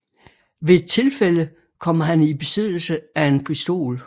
Ved et tilfælde kommer han i besiddelse af en pistol